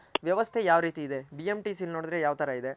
ವ್ಯವಸ್ತೆ ಯಾವ್ ರೀತಿ ಇದೆ BMTC ನೋಡದ್ರೆ ಯಾವ್ ತರ ಇದೆ